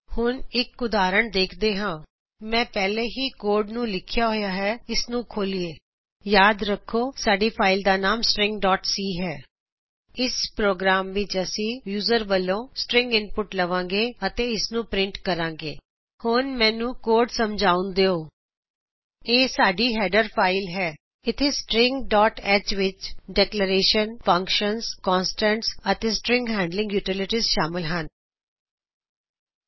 ਹੁਣ ਅਸੀਂ ਇਕ ਉਦਾਹਰਨ ਦੇਖਦੇ ਹਾ ਮੈਂ ਪਹਿਲਾਂ ਹੀ ਏਡੀਟਰ ਤੇ ਕੋਡ ਨੂੰ ਲਿਖਿਆ ਹੈ ਇਸ ਨੂੰ ਖੋਲ੍ਹਿਏ ਯਾਦ ਰੱਖੋ ਕਿ ਸਾਡੀ ਫਾਇਲ ਦਾ ਨਾਮ ਹੈ ਸ੍ਟ੍ਰਿੰਗ ਡੌਟ ਸੀ stringਸੀ ਇਸ ਪ੍ਰੋਗਰਾਮ ਵਿੱਚ ਅਸੀਂ ਯੂਜ਼ਰ ਵੱਲੋ ਇਕ ਸ੍ਟ੍ਰਿੰਗ ਇਨਪੁਟ ਲਵਾਂਗੇ ਅਤੇ ਇਸਨੂ ਪ੍ਰਿੰਟ ਕਰਾਂਗੇ ਹੁਣ ਮੈਨੂੰ ਕੋਡ ਨੂੰ ਸਮਝਾਉਣ ਦਿਉ ਇਹ ਸਾਡੀ ਹੈਡਰ ਫਾਇਲ ਹੈ ਇਥੇ ਸ੍ਟ੍ਰਿੰਗ ਡੌਟ ਐਚ stringਹ ਵਿੱਚ ਡੇਕਲੇਰੇਸ਼ਨ ਫੰਕਸ਼ਨਜ਼ ਕੌਨਸਟੈਂਟਸ ਅਤੇ string handling utilities string handling utilities ਸ਼ਾਮਲ ਹਨ